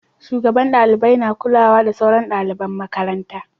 Shugabannin dalibai na kula da sauran dalibin makaranta